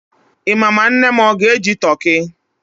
Ị ma ma nne m o ga-eji toki?